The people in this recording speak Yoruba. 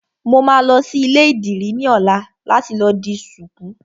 Mo máa lọ sí ilé ìdìrí ní ọ̀la láti lọ di ṣuku